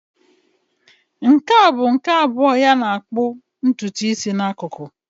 Nke a bụ nke abụọ ya ịkpụ ntutu isi n'akụkụ.